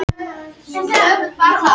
Ásmundur Einar segi af sér